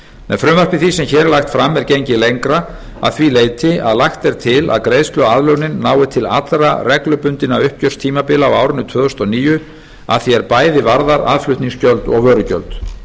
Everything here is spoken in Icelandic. með frumvarpi því sem hér er lagt fram er gengið lengra að því leyti að lagt er til að greiðsluaðlögunin nái til allra reglubundinna uppgjörstímabila á árinu tvö þúsund og níu að því er bæði varðar aðflutningsgjöld og vörugjöld